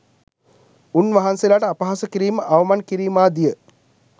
උන්වහන්සේලාට අපහාස කිරීම, අවමන් කිරීමාදිය